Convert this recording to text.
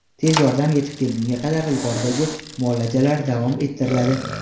Tez yordam yetib kelgunga qadar yuqoridagi muolajalar davom ettiriladi.